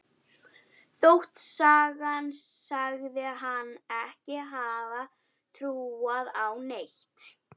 Þótt sagan segði hana ekki hafa trúað á neitt.